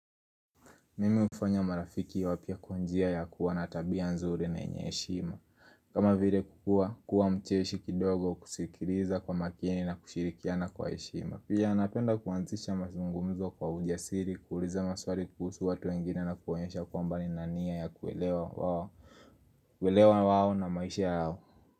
Mimi hufanya marafiki wapya kwa njia ya kuwa na tabia nzuri na yenye heshima. Kama vile kukua, kuwa mcheshi kidogo kusikiliza kwa makini na kushirikiana kwa heshima. Pia napenda kuanzisha mazungumzo kwa ujasiri, kuuliza maswali kuhusu watu wengine na kuwaonyesha kwamba nina nia ya kuelewa wao. Kuelewa wao na maisha yao.